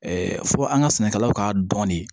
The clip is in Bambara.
fɔ an ka sɛnɛkɛlaw ka dɔni